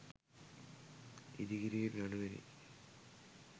ඉදිකිරීම් යනුවෙනි.